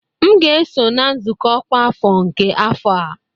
M ga-eso na nzukọ ọkwa afọ nke afọ a